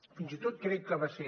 fins i tot crec que va ser